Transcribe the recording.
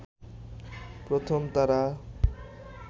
প্রথম তারা